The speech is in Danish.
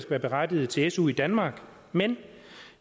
være berettiget til su i danmark men